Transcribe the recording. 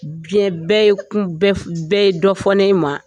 Diɲɛ bɛɛ ye dɔ fɔ ne ma.